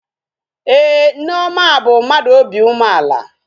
Ee, Nneoma bụ mmadụ obi umeala